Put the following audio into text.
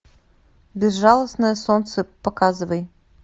безжалостное солнце показывай